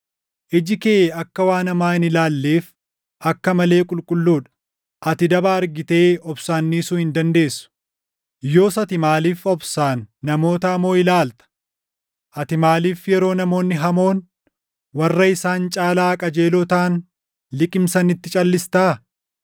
Iji kee akka waan hamaa hin ilaalleef akka malee qulqulluu dha; ati daba argitee obsaan dhiisuu hin dandeessu. Yoos ati maaliif obsaan namoota hamoo ilaalta? Ati maaliif yeroo namoonni hamoon warra isaan caalaa qajeeloo taʼan liqimsanitti calʼistaa?